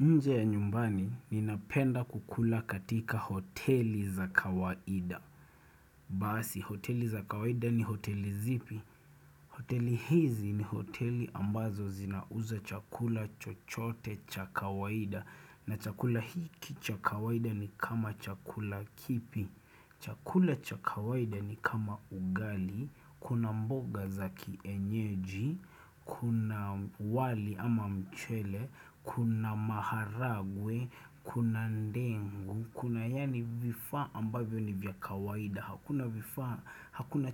Nje ya nyumbani, ninapenda kukula katika hoteli za kawaida. Basi, hoteli za kawaida ni hoteli zipi? Hoteli hizi ni hoteli ambazo zinauza chakula chochote cha kawaida. Na chakula hiki chakawaida ni kama chakula kipi. Chakula cha kawaida ni kama ugali, kuna mboga za kienyeji, Kuna wali ama mchele, Kuna maharagwe, Kuna ndengu, Kuna yaani vifaa ambavyo ni vya kawaida Hakuna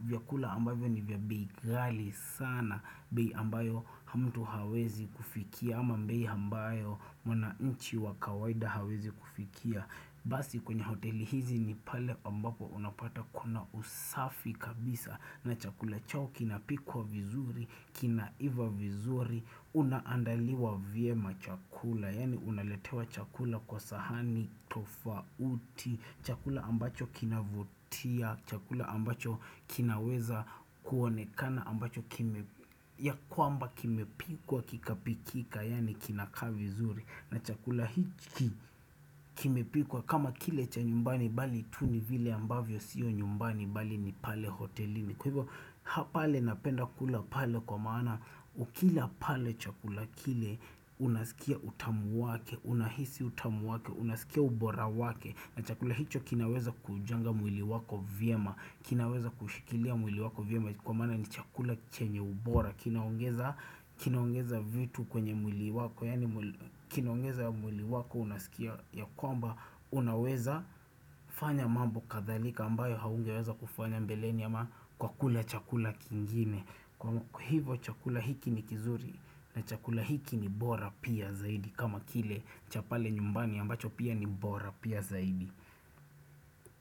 vyakula ambavyo ni vya bei ghali sana, bei ambayo mtu hawezi kufikia ama bei ambayo mwananchi wa kawaida hawezi kufikia. Basi kwenye hoteli hizi ni pale ambapo unapata kuna usafi kabisa na chakula chao kinapikwa vizuri, kinaiva vizuri, unaandaliwa vyema chakula, yaani unaletewa chakula kwa sahani, tofauti, chakula ambacho kinavutia, chakula ambacho kinaweza kuonekana ambacho ya kwamba kimepikwa kikapikika yaani kinakaa vizuri na chakula hiki kimepikwa kama kile cha nyumbani bali tu ni vile ambavyo sio nyumbani bali ni pale hotelini. Kwa hivyo pale napenda kula pale kwa maana ukila pale chakula kile unasikia utamu wake, unahisi utamu wake, unasikia ubora wake na chakula hicho kinaweza kuujenga mwili wako vyema, kinaweza kushikilia mwili wako vyema kwa maana ni chakula chenye ubora. Kinaongeza vitu kwenye mwili wako Kinaongeza mwili wako unasikia ya kwamba unaweza fanya mambo kadhalika ambayo haungeweza kufanya mbeleni ama kwa kula chakula kingine. Kwa hivo chakula hiki ni kizuri. Na chakula hiki ni bora pia zaidi, kama kile cha pale nyumbani ambacho pia ni bora pia zaidi.